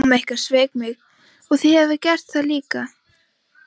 Mamma ykkar sveik mig og þið hafið gert það líka.